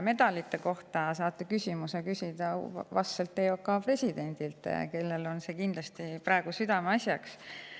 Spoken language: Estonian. Medalite kohta saate küsida vastselt EOK presidendilt, kellel on see praegu kindlasti südameasjaks.